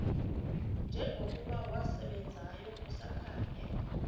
njengokuba wasebenzayo kusakhanya